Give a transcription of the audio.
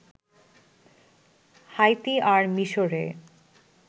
Haiti আর মিশরে